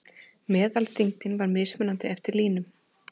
Meðalþyngdin var mismunandi eftir línum.